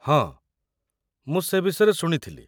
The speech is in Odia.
ହଁ, ମୁଁ ସେ ବିଷୟରେ ଶୁଣିଥିଲି ।